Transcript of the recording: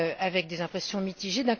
avec des impressions mitigées.